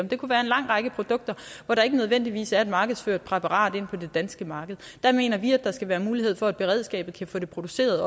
det kunne være en lang række produkter hvor der ikke nødvendigvis er et markedsført præparat inde på det danske marked der mener vi at der skal være mulighed for at beredskabet kan få det produceret